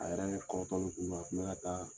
A yɛrɛ kɔrɔtɔli kun don , a kun bɛ ka taa